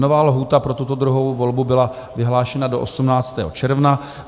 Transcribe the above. Nová lhůta pro tuto druhou volbu byla vyhlášena do 18. června.